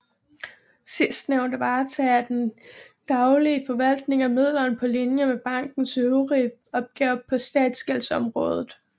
Sidstnævnte varetager den daglige forvaltning af midlerne på linje med bankens øvrige opgaver på statsgældsområdet